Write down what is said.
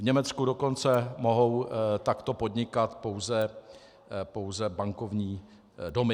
V Německu dokonce mohou takto podnikat pouze bankovní domy.